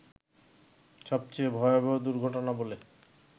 সবচেয়ে ভয়াবহ দুর্ঘটনা বলে